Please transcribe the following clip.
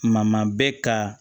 Ma maa bɛ ka